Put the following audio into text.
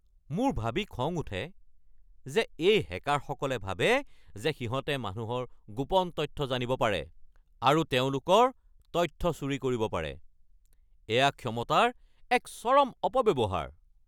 মোৰ ভাবি খং উঠে যে এই হেকাৰসকলে ভাবে যে সিহঁতে মানুহৰ গোপন তথ্য জানিব পাৰে আৰু তেওঁলোকৰ তথ্য চুৰি কৰিব পাৰে। এয়া ক্ষমতাৰ এক চৰম অপব্যৱহাৰ।